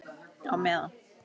Á meðan